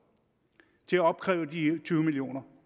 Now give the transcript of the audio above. til at opkræve de tyve million